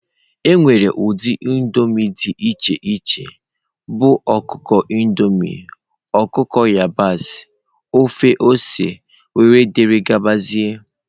Enwere ụdị indomie dị iche iche bụ ọkụkọ Indomie, ọkụkọ yabasị, ofe ose wdg.